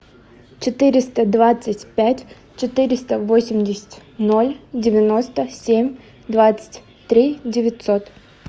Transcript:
четыреста двадцать пять четыреста восемьдесят ноль девяносто семь двадцать три девятьсот